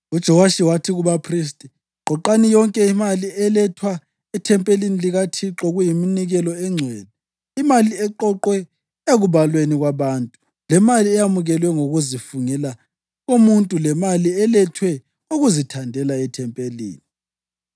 UJowashi wathi kubaphristi, “Qoqani yonke imali elethwa ethempelini likaThixo kuyiminikelo engcwele, imali eqoqwe ekubalweni kwabantu, lemali eyamukelwe ngokuzifungela komuntu lemali elethwe ngokuzithandela ethempelini.